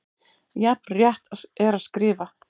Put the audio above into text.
Jafn rétt er að skrifa